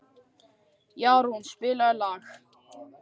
Jarún, spilaðu lag.